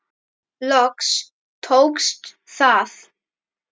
Loks tókst það.